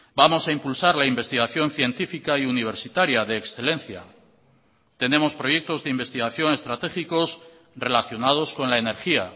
vamos a impulsar la investigación científica y universitaria de excelencia tenemos proyectos de investigación estratégicos relacionados con la energía